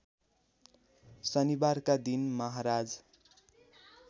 शनिबारका दिन महाराज